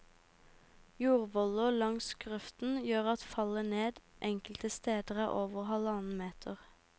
Jordvoller langs grøften gjør at fallet ned enkelte steder er over halvannen meter.